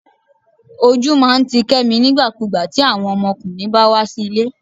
ojú máà ń tí kemí nígbàkúgbà ti awon ọmọkùnrin bá wá sí ilé